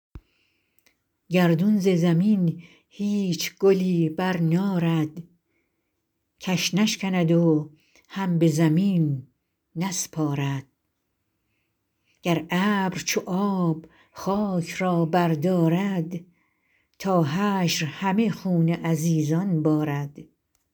گردون ز زمین هیچ گلی برنارد کش نشکند و هم به زمین نسپارد گر ابر چو آب خاک را بردارد تا حشر همه خون عزیزان بارد